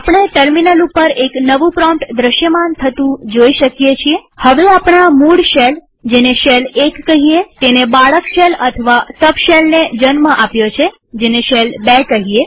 આપણે ટર્મિનલ ઉપર એક નવું પ્રોમ્પ્ટ દ્રશ્યમાન થતું જોઈ શકીએ છીએહવે આપણા મૂળ શેલજેને શેલ ૧ કહીએતેણે બાળક શેલ અથવા સબ શેલને જન્મ આપ્યો છે જેને શેલ ૨ કહીએ